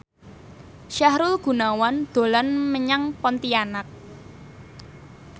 Sahrul Gunawan dolan menyang Pontianak